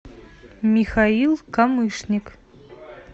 михаил камышник